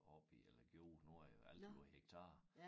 Oppe i eller gjorde nu er alt jo hektar